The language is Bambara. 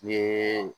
Ni